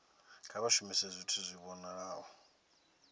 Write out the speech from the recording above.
kha vha shumise zwithu zwi vhonalaho